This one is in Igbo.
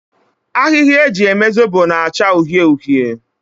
Ahịhịa eji eme Zobo na-achọ uhie uhie.